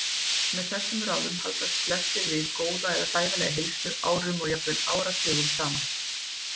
Með þessum ráðum haldast flestir við góða eða sæmilega heilsu árum og jafnvel áratugum saman.